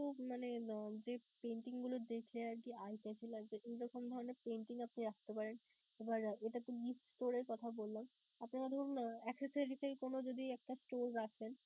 খুব মানে উম যেই painting গুলো দেখলে আরকি eye chachy লাগবে এইরকম ধরণের আপনি রাখতে পারেন. এবার এটাতো gift store এর কথা বললাম, আপনারা ধরুন আহ accessories এর কোন যদি একটা store রাখেন.